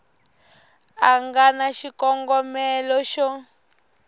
a nga na xikongomelo xo